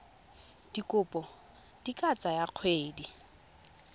dikopo di ka tsaya dikgwedi